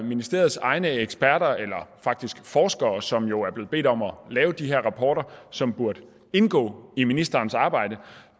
ministeriets egne forskere som jo er blevet bedt om at lave de her rapporter som burde indgå i ministerens arbejde